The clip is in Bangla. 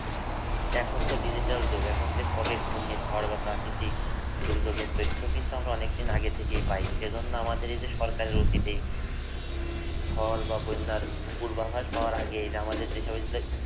এখনতো digital যুগ এখন যে কবে ঘুর্ণিঝড় বা প্রাকৃতিক দুর্যোগের তথ্য কিন্তু আমরা অনেক দিন আগে থেকে আমরা পায়। সেজন্য আমাদের এই যে সরকারের উচিৎ এই ঝড় বা বন্যার পূর্বাভাস পাওয়ার আগেই এই যে আমাদের যেসব